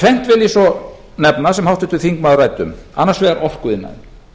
tvennt vil ég svo nefna sem háttvirtur þingmaður ræddi um annars vegar orkuiðnaðurinn